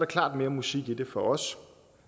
klart mere musik i det for os